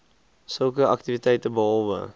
sulke aktiwiteite behalwe